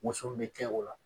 Woson bɛ kɛ o la.